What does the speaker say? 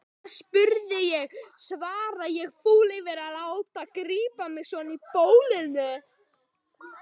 Þess vegna spurði ég, svara ég fúl yfir að láta grípa mig svona í bólinu.